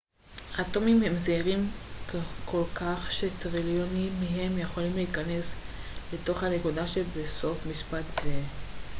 אטומים הם זעירים כל כך שטריליונים מהם יכולים להיכנס לתוך הנקודה שבסוף משפט זה